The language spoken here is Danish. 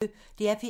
DR P1